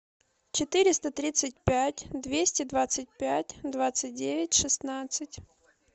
четыреста тридцать пять двести двадцать пять двадцать девять шестнадцать